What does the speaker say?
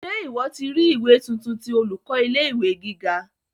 Ṣe ìwọ́ ti ri ìwé tuntun ti olùkọ́ ilé ìwé gíga?